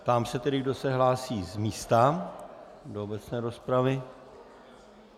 Ptám se tedy, kdo se hlásí z místa do obecné rozpravy.